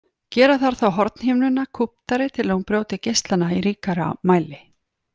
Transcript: Gera þarf þá hornhimnuna kúptari til að hún brjóti geislana í ríkara mæli.